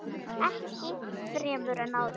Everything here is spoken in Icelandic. Ekki fremur en áður.